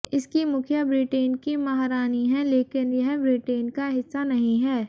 इसकी मुखिया ब्रिटेन की महारानी हैं लेकिन यह ब्रिटेन का हिस्सा नहीं है